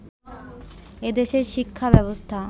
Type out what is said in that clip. এদেশের শিক্ষা ব্যবস্থা